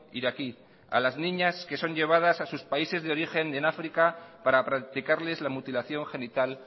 iraquí a las niñas que son llevadas a sus países de origen en áfrica para practicarles la mutilación genital